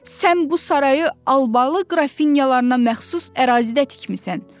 Sən bu sarayı Albalı qrafinyalarına məxsus ərazidə tikmisən.